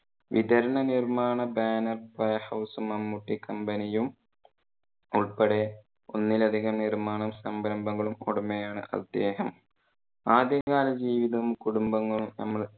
വിതരണ നിർമാണ banner playhouse ഉം മമ്മൂട്ടി company യും ഉൾപ്പെടെ ഒന്നിലധികം നിർമാണ സംരംഭങ്ങളും ഉടമയാണ് അദ്ദേഹം. ആദ്യ കാല ജീവിതം കുടുംബ